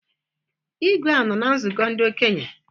Igwe a nọ na nzụkọ ndị okenye?